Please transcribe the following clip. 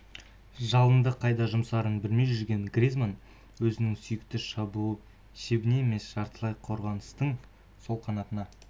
жалынды қайда жұмсарын білмей жүрген гризманн өзінің сүйікті шабуыл шебіне емес жартылай қорғаныстың сол қанатына